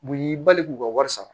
U y'i bali k'u ka wari sara